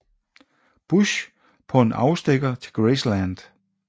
Bush på en afstikker til Graceland